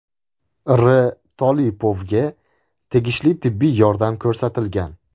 R. Tolipovga tegishli tibbiy yordam ko‘rsatilgan.